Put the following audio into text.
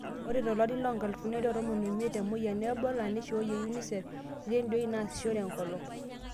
Ore tolari lonkalifuni are otomon oimiet, te moyian e Ebola, neishooyie UNICEF irredioi naasishore enkolong' .